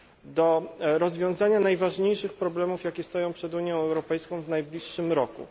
do rozwiązania najważniejszych problemów, jakie stoją przed Unią Europejską w najbliższym roku.